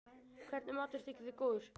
Hvernig matur þykir þér góður?